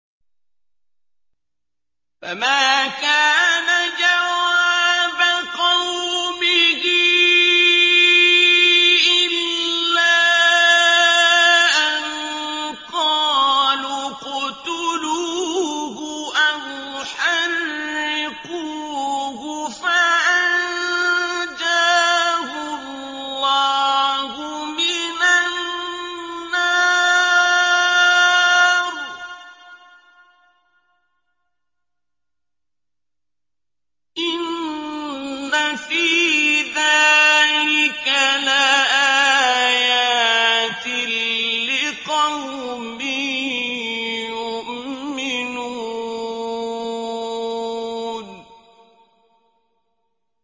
فَمَا كَانَ جَوَابَ قَوْمِهِ إِلَّا أَن قَالُوا اقْتُلُوهُ أَوْ حَرِّقُوهُ فَأَنجَاهُ اللَّهُ مِنَ النَّارِ ۚ إِنَّ فِي ذَٰلِكَ لَآيَاتٍ لِّقَوْمٍ يُؤْمِنُونَ